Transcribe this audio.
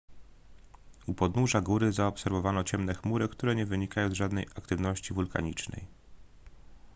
u podnóża góry zaobserwowano ciemne chmury które nie wynikają z żadnej aktywności wulkanicznej